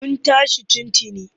Mun tashi tun tuni.